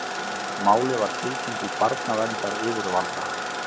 Málið var tilkynnt til barnaverndaryfirvalda